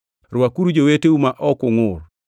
Rwakuru joweteu ma ok ungʼur.